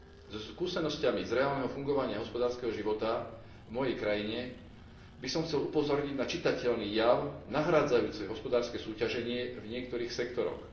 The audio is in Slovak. So skúsenosťami z reálneho fungovania hospodárskeho života v mojej krajine by som chcel upozorniť na čitateľný jav nahrádzajúci hospodárske súťaženie v niektorých sektoroch.